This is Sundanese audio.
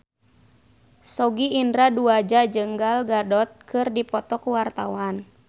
Sogi Indra Duaja jeung Gal Gadot keur dipoto ku wartawan